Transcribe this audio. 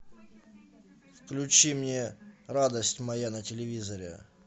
включи мне радость моя на телевизоре